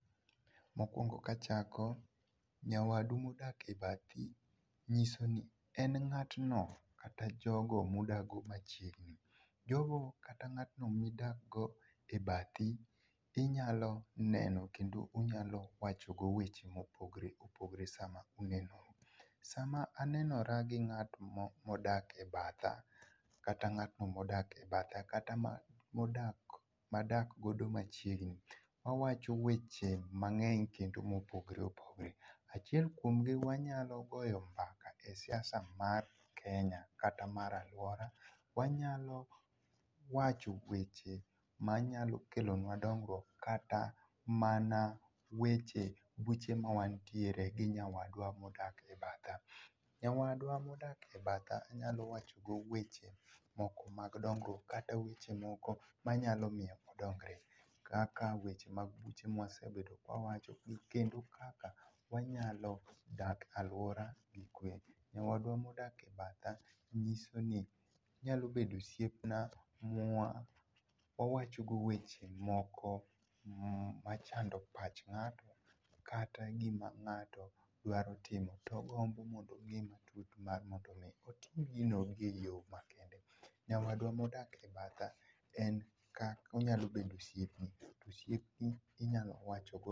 Mokwongo kachako, nyawadu modak e bathi nyiso ni en ng'atno kata jogo mudakgo machiegni. Jogo kata ng'atno midakgo e bathi inyalo neno kendo unyalo wachogo weche mopogore opogore sama unenoru. Sama anenora gi ng'at modak ebatha kata ng'atno modak ebatha kata moda madak godo machiegni mawacho weche mang'eny kendo mopogore opogore, achiel kuomgi wanyalo goyo mbaka e siasa mar Kenya kata mar aluora, wanyalo wacho weche manyalo kelonua dongruok kata mana weche buche mawantiere gi nyawadwa modak ebatha. Nyawadwa modak ebatha nyalo wachogo weche moko mag dongruok kata weche moko manyalo miyo odongre kaka weche mag buche mawasebedo ka wawacho kendo kaka wanyalo dak e aluora gikwe. Nyawadwa modak ebatha nyisoni onyalo bedo osiepna mwa wawachogo weche moko mm machando pach ng'ato kata gima ng'ato dwaro timo togombo mondotim gino eyoo makare. Nyawadwa modak ebatha en ka onyalo bedo osiepni to osiepni inyalo wachogo.